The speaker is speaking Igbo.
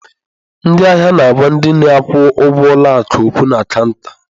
Ndị ahịa na-agwa ndị na-akwụ ụgwọ ụlọ akụ okwu na cọunta.